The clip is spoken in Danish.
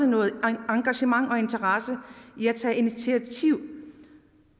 noget engagement og interesse i at tage initiativ